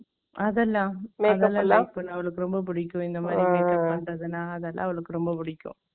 அதெல்லாம், அவளுக்கு ரொம்ப பிடிக்கும். இந்த மாதிரி, அதெல்லாம், அவளுக்கு ரொம்ப பிடிக்கும்